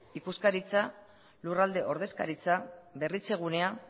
ikuskaritza lurralde ordezkaritza berritzegunea